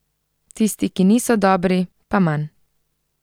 Tisti, ki niso dobri, pa manj.